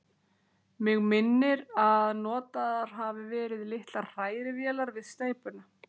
Mig minnir, að notaðar hafi verið litlar hrærivélar við steypuna.